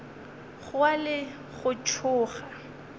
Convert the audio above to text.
go wa le go tsoga